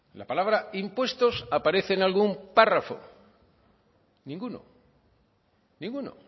la palabra impuestos aparece en algún párrafo ninguno ninguno